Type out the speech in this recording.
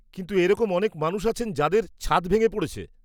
কিন্তু এরকম অনেক মানুষ আছেন যাঁদের ছাদ ভেঙে পড়েছে।